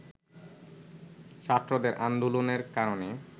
ছাত্রদের আন্দোলনের কারণে